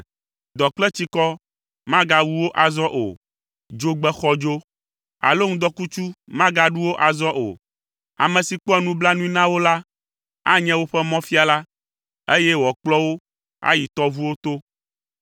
Dɔ kple tsikɔ magawu wo azɔ o. Dzogbe xɔdzo alo ŋdɔkutsu magaɖu wo azɔ o. Ame si kpɔa nublanui na wo la anye woƒe mɔfiala, eye wòakplɔ wo ayi tɔʋuwo to.